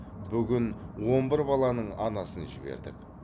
бүгін он бір баланың анасын жібердік